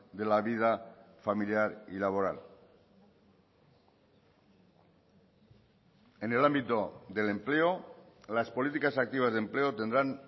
de la vida familiar y laboral en el ámbito del empleo las políticas activas de empleo tendrán